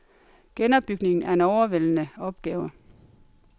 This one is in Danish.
Genopbygningen er en overvældende opgave.